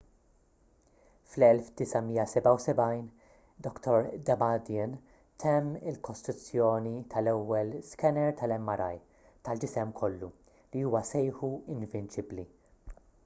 fl-1977 dr damadian temm il-kostruzzjoni tal-ewwel skener tal-mri tal-ġisem kollu li huwa sejħu invinċibbli